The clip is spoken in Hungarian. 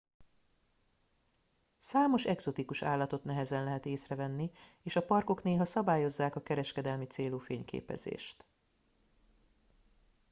számos egzotikus állatot nehezen lehet észre venni és a parkok néha szabályozzák a kereskedelmi célú fényképezést